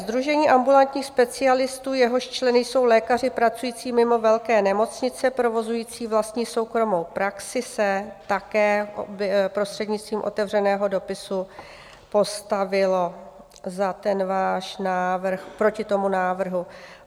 Sdružení ambulantních specialistů, jehož členy jsou lékaři pracující mimo velké nemocnice, provozující vlastní soukromou praxi, se také prostřednictvím otevřeného dopisu postavilo za ten váš návrh... proti tomu návrhu.